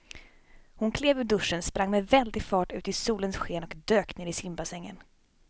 Hon klev ur duschen, sprang med väldig fart ut i solens sken och dök ner i simbassängen.